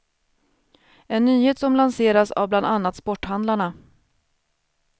En nyhet som lanseras av bland annat sporthandlarna.